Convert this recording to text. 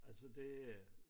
Altså det er